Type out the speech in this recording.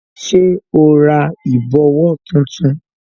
Ṣé o ra ìbòwó tuntun